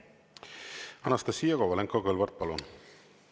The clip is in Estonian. Anastassia Kovalenko-Kõlvart, palun!